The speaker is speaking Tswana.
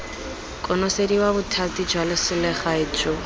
konosediwa bothati jwa selegae jo